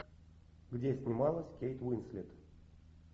где снималась кейт уинслет